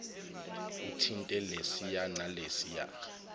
uthinte lesiya nalesiya